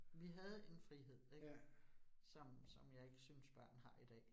Vi havde en frihed ik, som som jeg ikke synes børn har i dag